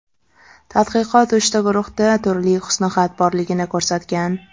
Tadqiqot uchta guruhda turli husnixat borligini ko‘rsatgan.